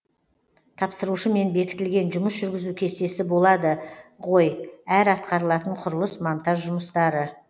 тапсырушымен бекітілген жұмыс жүргізу кестесі болады ғой әр атқарылатын құрылыс монтаж жұмыстары